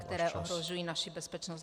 - které ohrožují naši bezpečnost.